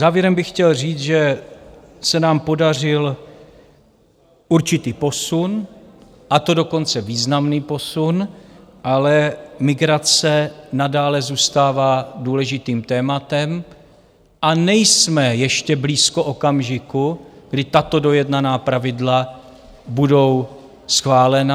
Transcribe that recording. Závěrem bych chtěl říct, že se nám podařil určitý posun, a to dokonce významný posun, ale migrace nadále zůstává důležitým tématem a nejsme ještě blízko okamžiku, kdy tato dojednaná pravidla budou schválena.